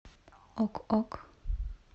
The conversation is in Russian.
ок ок